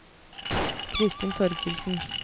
Christin Thorkildsen